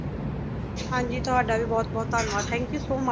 ਹਾਂ ਜੀ, ਤੁਹਾਡਾ ਵੀ ਬਹੁਤ ਬਹੁਤ ਧੰਨਵਾਦ, thank you so much